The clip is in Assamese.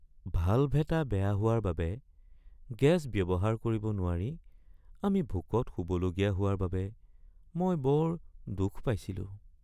ভাল্ভ এটা বেয়া হোৱাৰ বাবে গেছ ব্যৱহাৰ কৰিব নোৱাৰি আমি ভোকত শুবলগীয়া হোৱাৰ বাবে মই বৰ দুখ পাইছিলোঁ।